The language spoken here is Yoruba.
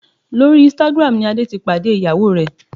Lórí Instagram ni Adé ti pàdé ìyàwó rẹ̀